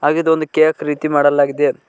ಇದು ಒಂದು ಕೇಕ್ ರೀತಿ ಮಾಡಲಾಗಿದೆ.